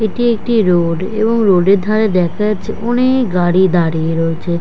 এইটি একটি রোড এবং রোড -এর ধারে দেখা যাচ্ছে অনেএএক গাড়ি দাঁড়িয়ে রয়েছে।